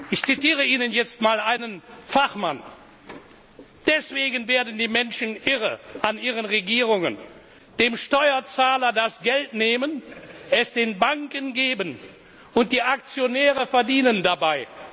Ich zitiere Ihnen jetzt einen Fachmann Deswegen werden die Menschen irre an ihren Regierungen Dem Steuerzahler das Geld nehmen, es den Banken geben, und die Aktionäre verdienen dabei.